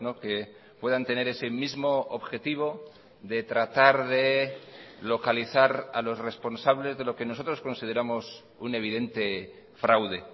que puedan tener ese mismo objetivo de tratar de localizar a los responsables de lo que nosotros consideramos un evidente fraude